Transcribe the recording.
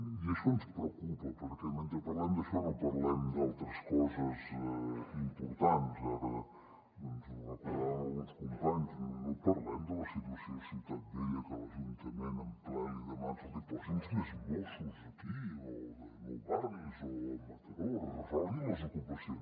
i això ens preocupa perquè mentre parlem d’això no parlem d’altres coses importants ara doncs ho recordàvem alguns companys no parlem de la situació a ciutat vella que l’ajuntament en ple li demana escolti posi’ns més mossos aquí o de nou barris o a mataró resolgui les ocupacions